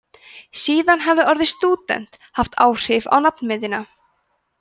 síðan hafi orðið stúdent haft áhrif á nafnmyndina